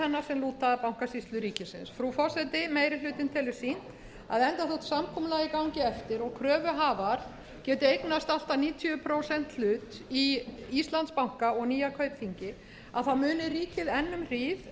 lúta að bankasýslu ríkisins frú forseti meiri hlutinn telur sýnt að enda þótt samkomulagið gangi eftir og kröfuhafar geti eignast allt að níutíu prósenta hlut í íslandsbanka og nýja kaupþingi muni ríkið enn um hríð